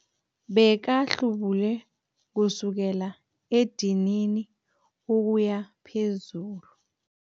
Bekahlubule kusukela edinini ukuya phezulu.